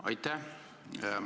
Aitäh!